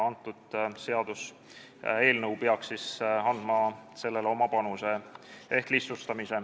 Meie seaduseelnõu peaks andma oma panuse ehk protsessi lihtsustama.